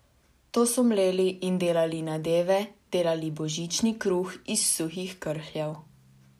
To so mleli in delali nadeve, delali božični kruh iz suhih krhljev.